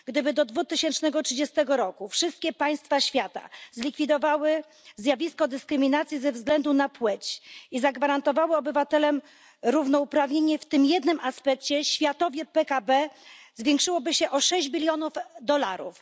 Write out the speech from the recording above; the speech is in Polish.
Gdyby do 2030 roku wszystkie państwa świata zlikwidowały zjawisko dyskryminacji ze względu na płeć i zagwarantowały obywatelom równouprawnienie w tym jednym aspekcie, światowe PKB zwiększyłoby się o 6 bilionów dolarów.